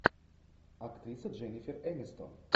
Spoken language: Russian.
актриса дженнифер энистон